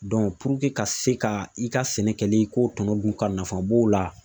ka se ka i ka sɛnɛ kɛli i k'o tɔnɔ dun ka nafa b'o la